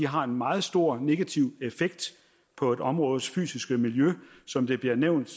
har en meget stor negativ effekt på et områdes fysiske miljø som det bliver nævnt